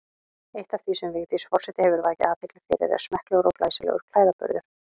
Eitt af því sem Vigdís forseti hefur vakið athygli fyrir er smekklegur og glæsilegur klæðaburður.